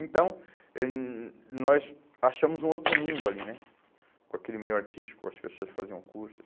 Então, h nós achamos um outro mundo ali né, com aquele meio artístico, as pessoas faziam cursos,